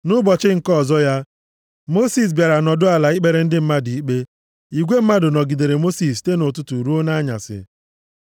Nʼụbọchị nke ọzọ ya, Mosis bịara nọdụ ala ikpere ndị mmadụ ikpe. Igwe mmadụ nọgidere Mosis site nʼụtụtụ ruo nʼanyasị.